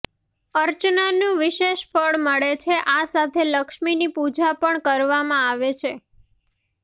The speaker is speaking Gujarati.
અર્ચનાનું વિશેષ ફળ મળે છે આ સાથે લક્ષ્મીની પૂજા પણ કરવામાં આવે છે